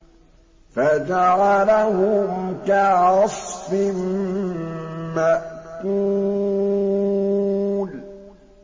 فَجَعَلَهُمْ كَعَصْفٍ مَّأْكُولٍ